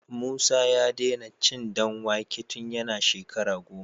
Musa ya dena cin dan wake tun yana shekara goma